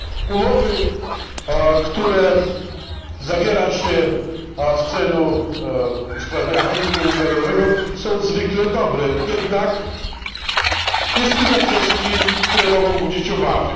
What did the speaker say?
Umowy, które zawiera się w celu usprawnienia handlu międzynarodowego, są zwykle dobre. Jednak jest kilka kwestii, które mogą budzić obawy.